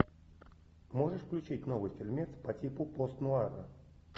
можешь включить новый фильмец по типу пост нуара